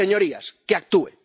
Señorías, que actúe.